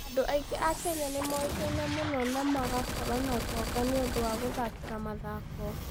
Andũ aingĩ a Kenya nĩ moĩkaine mũno na magakorũo na ũtonga nĩ ũndũ wa gũthakĩra mathako.